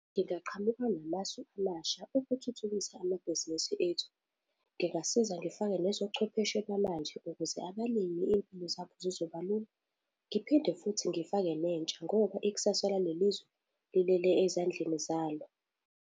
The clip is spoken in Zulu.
Ngingaqhamuka namasu amasha ukuthuthukisa amabhizinisi ethu, ngingasiza ngifake nezobuchwepheshe bamanje ukuze abalimi izimpilo zabo zizoba lula. Ngiphinde futhi ngifake nentsha ngoba ikusasa zale lizwe lilele ezandleni zalo.